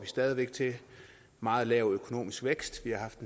stadig væk til meget lav økonomisk vækst vi har haft